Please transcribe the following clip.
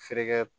Feere kɛ